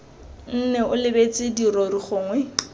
nne o lebeletse dirori gongwe